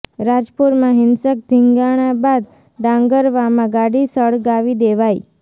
રાજપુરમાં હિંસક ધીંગાણા બાદ ડાંગરવામાં ગાડી સળગાવી દેવાઈ